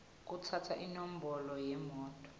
kutsatsa inombolo yemoto